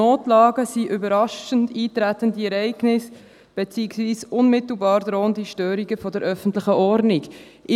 Notlagen sind «überraschend eintretende Ereignisse bzw. unmittelbar drohende Störungen der öffentlichen Ordnung [...]».